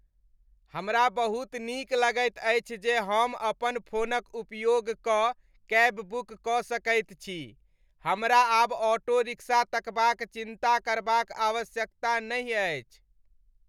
हमरा बहुत नीक लगैत अछि जे हम अपन फोनक उपयोग कऽ कैब बुक कऽ सकैत छी। हमरा आब ऑटो रिक्शा तकबाक चिन्ता करबाक आवश्यकता नहि अछि।